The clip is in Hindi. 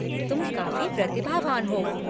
तुम काफ़ी प्रतिभावान हो।